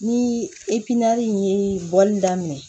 Ni ye bɔli daminɛ